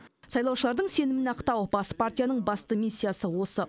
сайлаушылардың сенімін ақтау бас партияның басты миссиясы осы